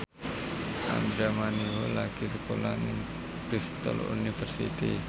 Andra Manihot lagi sekolah nang Bristol university